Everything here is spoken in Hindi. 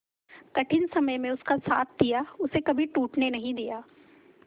कठिन समय में उसका साथ दिया उसे कभी टूटने नहीं दिया